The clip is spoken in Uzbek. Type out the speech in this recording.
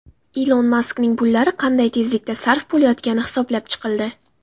Ilon Maskning pullari qanday tezlikda sarf bo‘layotgani hisoblab chiqildi.